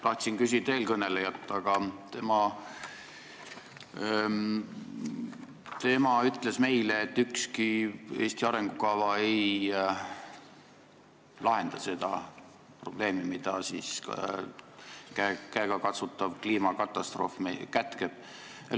Tahtsin küll küsida eelkõnelejalt, sest tema ütles meile, et ükski Eesti arengukava ei lahenda seda probleemi, mida käegakatsutav kliimakatastroof kätkeb.